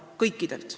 Kõikidelt.